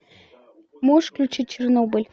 можешь включить чернобыль